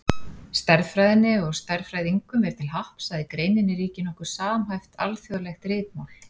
Stærðfræðinni og stærðfræðingum er til happs að í greininni ríkir nokkuð samhæft, alþjóðlegt ritmál.